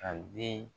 A den